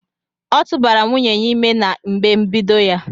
ọtụbara nwunye ya ime na mgbe mbedo ya.